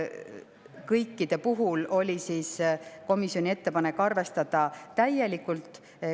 Kõikide puhul oli komisjoni ettepanek arvestada täielikult.